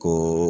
Ka